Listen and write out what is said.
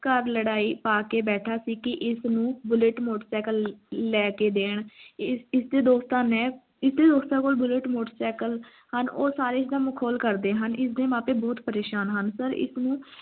ਘਰ ਲੜਾਈ ਪਾ ਕੇ ਬੈਠਾ ਸੀ ਕੀ ਇਸ ਨੂੰ bullet motorcycle ਲੈ ਲੈ ਕੇ ਦੇਣ, ਇਸ ਦੇ ਦੋਸਤਾਂ ਨੇ ਇਸ ਦੇ ਦੋਸਤਾਂ ਕੋਲ bullet motorcycle ਹਨ ਉਹ ਸਾਰੇ ਇਸ ਨਾਲ ਮਖੌਲ ਕਰਦੇ ਹਨ ਉਸ ਦੇ ਮਾਪੇ ਬਹੁਤ ਪ੍ਰੇਸ਼ਾਨ ਹਨ sir ਇੱਸ ਨੂੰ